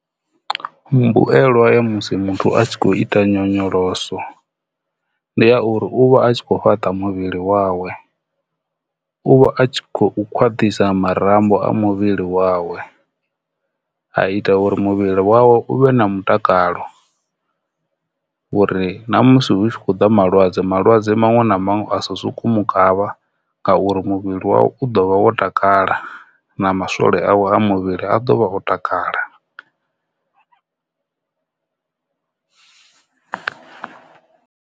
Mbuelwa ya musi muthu a tshi khou ita nyonyoloso ndi ya uri uvha a kho fhaṱa muvhili wawe, uvha a tshi kho khwaṱhisa marambo a muvhili wawe. A ita uri muvhili wawe u vhe na mutakalo uri na musi hu tshi khou ḓa malwadze malwadze maṅwe na maṅwe a sa soku mu kavha ngauri muvhili wawe u ḓo vha wo takala na maswole awe a muvhili a dovha o takala.